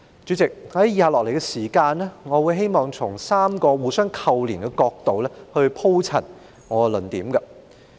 "主席，我會在以下的時間，從3個互相扣連的角度鋪陳我的論點。